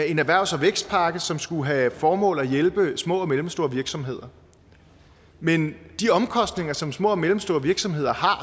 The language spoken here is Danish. en erhvervs og vækstpakke som skulle have til formål at hjælpe små og mellemstore virksomheder men de omkostninger som små og mellemstore virksomheder har